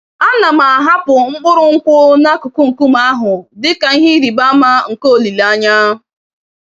Ana m ahapụ mkpụrụ nkwụ n'akụkụ nkume ahụ dị ka ihe ịrịba ama nke olileanya.